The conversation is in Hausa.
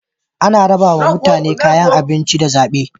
Ana rabawa mutane kayan abinci da zabe